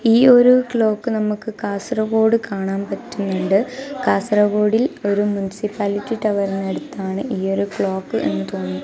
ഈയൊരു ക്ലോക്ക് നമുക്ക് കാസറഗോഡ് കാണാം പറ്റുന്നുണ്ട് കാസർഗോഡിൽ ഒരു മുൻസിപ്പാലിറ്റി ടവറിനടുത്ത് ആണ് ഈ ഒരു ക്ലോക്ക് എന്ന് തോന്നുന്നു.